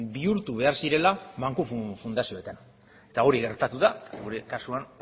bihurtu behar zirela banku fundazioetan eta hori gertatu da eta gure kasuan